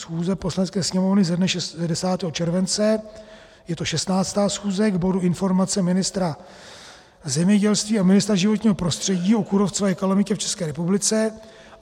Schůze Poslanecké sněmovny ze dne 10. července, je to 16. schůze, k bodu Informace ministra zemědělství a ministra životního prostředí ke kůrovcové kalamitě v České republice.